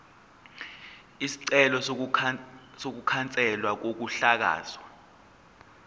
isicelo sokukhanselwa kokuhlakazwa